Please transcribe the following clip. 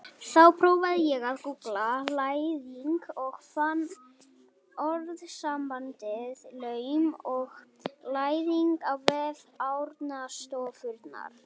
Þá prófaði ég að gúggla læðing og fann orðasambandið laum og læðingur á vef Árnastofnunar.